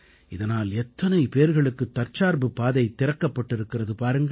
இதனால் எத்தனை பேர்களுக்குத் தற்சார்புப் பாதை திறக்கப்பட்டிருக்கிறது பாருங்கள்